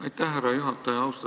Aitäh, härra juhataja!